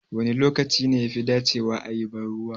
Wane lokaci ne yafi dacewa a yi banruwa?